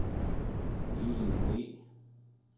Elin Le